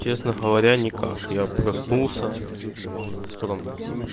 честно говоря никак я проснулся утром